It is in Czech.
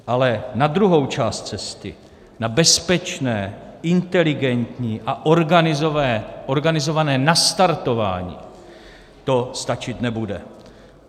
Ale na druhou část cesty, na bezpečné, inteligentní a organizované nastartování to stačit nebude.